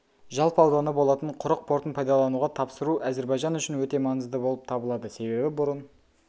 жалпы ауданы болатын құрық портын пайдалануға тапсыру әзербайжан үшін өте маңызды болып табылады себебі бұрын